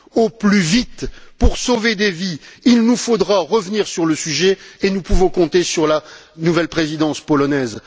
Au plus vite, pour sauver des vies, il nous faudra revenir sur le sujet, et nous pouvons compter sur la nouvelle présidence polonaise.